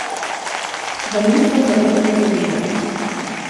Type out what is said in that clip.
V njih so zaupne zadeve.